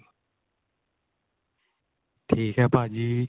ਠੀਕ ਏ ਭਾਜੀ